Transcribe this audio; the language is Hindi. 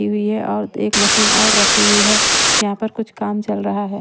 हुई है और एक मशीन और रखी हुई है यहाँ पर कुछ काम चल रहा है।